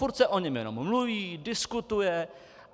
Furt se o něm jenom mluví, diskutuje.